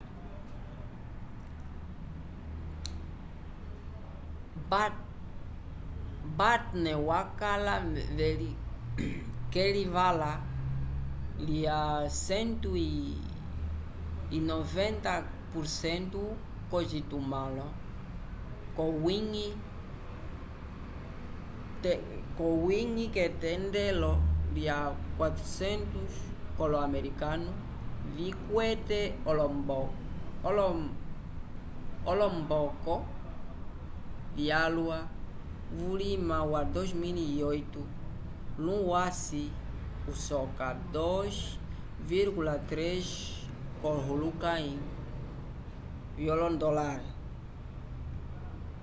batten wakala k'elivala lya 190% k'ocitumãlo c'owiñgi k'etendelo lya 400 k'olo-americano vikwete olomboko vyalwa vulima wa 2008 luwasi usoka 2,3 kolohulukãyi vyondolare